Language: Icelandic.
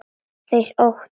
Þeir óttast.